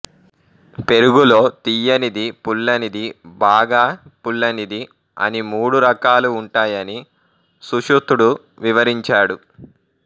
పెరుగులో తియ్యనిది పుల్లనిది బాగా పుల్లనిది అని మూడు రకాలు ఉంటాయని సుశృతుడు వివరించాడు